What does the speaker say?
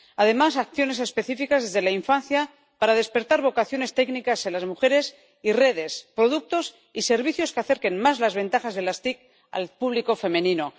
además, acciones específicas desde la infancia para despertar vocaciones técnicas en las mujeres y redes, productos y servicios que acercan más las ventajas de las TIC al público femenino.